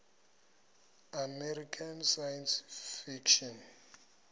american science fiction